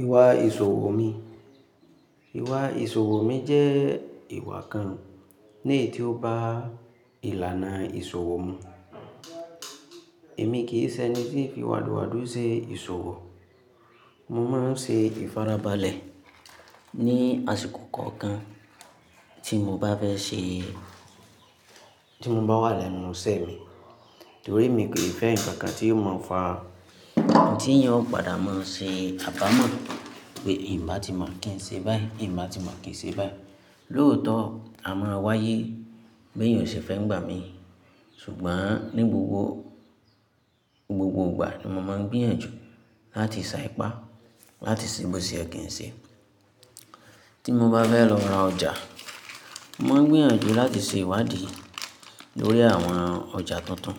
Ìwà ìṣòwò mi. Ìwà ìṣòwò mi jẹ́ ìwà kan ní èyí tí ó bá ìlànà ìṣòwò mu. Èmi kì í ṣe ẹni tí í fi wádùwádù ṣe ìṣòwò. Mo máa ń ṣe ìfarabalẹ̀ ní àsìkò kọ̀ọ̀kan tí mo bá fẹ́ ṣe, tí mo bá wà lẹ́nu iṣẹ́ mi, torí mi kì í fẹ́ ǹkan kan tí yóò máa fà, tí èèyàn ó padà máa ṣe àbámọ̀ pé hin bá ti mo kí ń ṣe báyìí, hin ba ti máa kí ń ṣe báyìí. Lóòótọ́ a máa wáyé bèèyàn ò se fẹ́ ń gbà mí, ṣùgbọ́n ní gbogbo, gbogbo ìgbà ni mo máa ń gbìyànjú láti sá ipá láti ṣe bó ṣe ye kí ń ṣe. Tí mo bá fẹ́ lọ ra ọjà, mo máa ń gbìyànjú láti ṣe ìwádìí lórí àwọn ọjà tuntun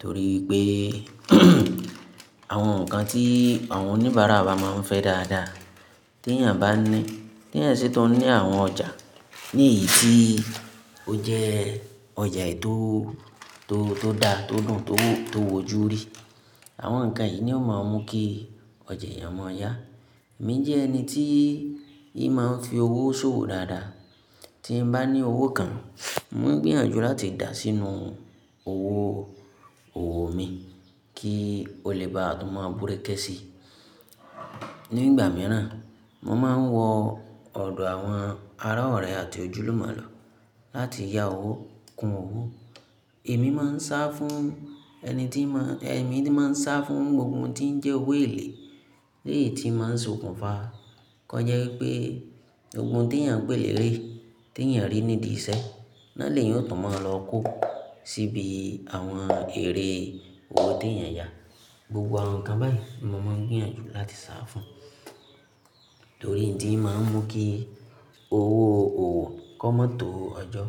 torí i pé àwọn ǹkan tí àwọn oníbàárà ba máa ń fẹ́ dáadáa tèyàn bá ní, tèyàn ṣi tun ní àwọn ọjà ní ìti ó jẹ́ ọjà è tó, tó, tó dá, tó dùn, tó, tó wò jú rí. Àwọn ǹkan yìí ni ó máa ń mú kí ọjà èèyàn mọ̀ọ́ yá. Èmi jẹ́ ẹni tí ì máa ń fi owó ṣòwò dáadáa. Tí n bá ní owó kan, mo ń gbìyànjú láti dà á sínú owó òwò mi kí ó le bá tún maa búrẹ́kẹ́ sí i. Ní ìgbà mìíràn, mo máa ń wọ ọ̀dọ̀ àwọn ará ọ̀rẹ́ àti ojúlùmọ̀ lọ láti yá owó, kun owó. Èmi máa ń sá fún ẹni tí ń máa, èmi ti máa ń sá fún gbogbo ohun tí ń jẹ́ owó èlé eléyìí tí màá ń sokùn fa. Ko jẹ́ wipé gbogbo ohun tèyàn pé lérè, tèyàn rí nídìí iṣẹ́ náà lèyàn tún máa lọ kó síbi àwọn ère owó tí èèyàn yà. Gbogbo àwọn ǹkan báyìí ni mo máa ń gbìyànjú láti sá fún, torí n ti máa ń mú kí owó òwò kó má tọ́ ọjọ́,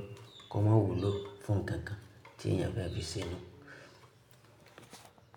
kó má wúlò fún ǹkan kan tí èèyàn fẹ́ fi ṣenu.